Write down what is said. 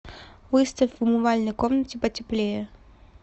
выставь в умывальной комнате потеплее